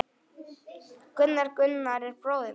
Gunnar, Gunnar er bróðir minn.